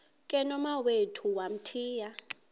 ke nomawethu wamthiya